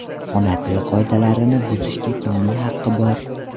Ona tili qoidalarini buzishga kimning haqi bor?.